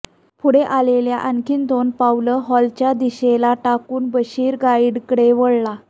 पुढे आलेला आणखी दोन पावलं हॉलच्या दिशेला टाकून बशीर गाईडकडे वळला